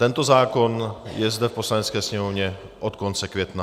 Tento zákon je zde v Poslanecké sněmovně od konce května.